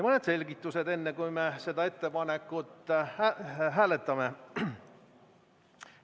Mõned selgitused, enne kui me seda ettepanekut hääletame.